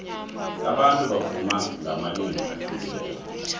abantu bavuma ngamalimi ahlukileko